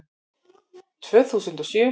Tvö þúsund og sjö